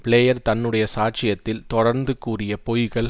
player தன்னுடைய சாட்சியத்தில் தொடர்ந்து கூறிய பொய்கள்